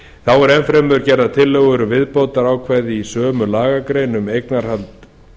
þá eru enn fremur gerðar tillögur um viðbótarákvæði í sömu lagagrein um eignarhald